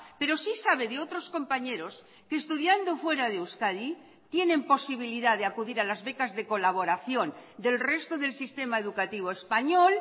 pero sí sabe de otros compañeros que estudiando fuera de euskadi tienen posibilidad de acudir a las becas de colaboración del resto del sistema educativo español